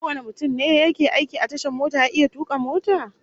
Kowane mutum ne yake aiki a tashar mota ya iya tuka mota?